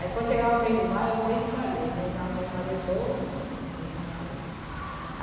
Aí quando chegava o mês de maio era o mês de maria, a gente rezava o mês de maria todinho, mês de maria.